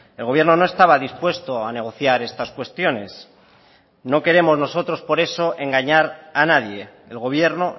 el gobierno no estaba dispuesto a negociar estas cuestiones no queremos nosotros por eso engañar a nadie el gobierno